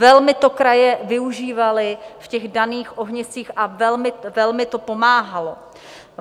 Velmi to kraje využívaly v těch daných ohniscích a velmi to pomáhalo.